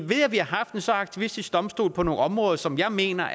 vi har haft en så aktivistisk domstol på nogle områder som jeg mener